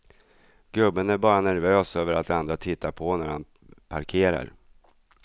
Gubben är bara nervös över att andra tittar på när han parkerar.